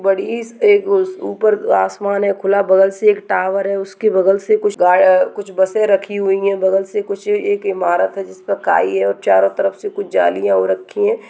बड़ी स एक म उस ऊपर आसमान है खुला बगल से एक टावर है उसके बगल से कुछ गाय आ कुछ बसें रखी हुई हैं बगल से कुछ एक इमारत है जिसका काई है और चारों तरफ से कुछ जालियां और रखी हैं।